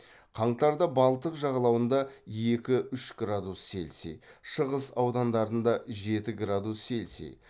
қаңтарда балтық жағалауында екі үш градус цельсий шығыс аудандарында жеті градус цельсий